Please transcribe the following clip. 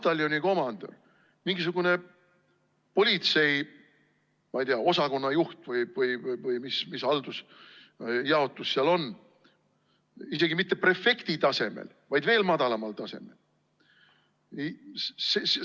Pataljoni komandör, mingisugune politsei, ma ei tea, osakonna juht või mis jaotus seal on, isegi mitte prefekti tasemel, vaid veel madalamal tasemel.